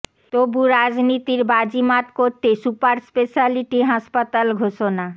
তবু রাজনীতির বাজি মাত করতে সুপার স্পেশ্যালিটি হাসপাতাল ঘোষণা এবং অনেক